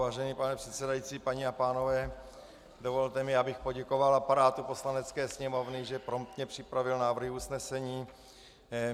Vážený pane předsedající, paní a pánové, dovolte mi, abych poděkoval aparátu Poslanecké sněmovny, že promptně připravil návrhy usnesení.